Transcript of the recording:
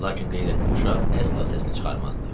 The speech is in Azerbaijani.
Lakin qeyrətli uşaq əsla səsini çıxarmazdı.